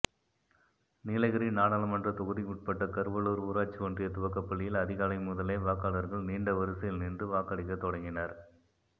நீலகிரி நாடாளுமன்ற தொகுதிக்குட்பட்ட கருவலூர் ஊராட்சி ஒன்றிய துவக்கப்பள்ளியில் அதிகாலை முதலே வாக்காளர்கள் நீண்ட வரிசையில் நின்று வாக்களிக்கத் தொடங்கினர்